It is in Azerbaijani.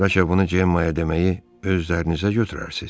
Bəlkə bunu Cemma deməyi öz üzərinizə götürərsiz?